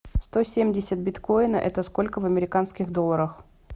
сто семьдесят биткоина это сколько в американских долларах